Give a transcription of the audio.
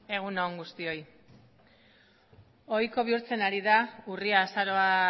egun on guztioi ohiko bihurtzen ari da urria azaroa